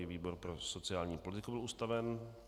I výbor pro sociální politiku byl ustaven.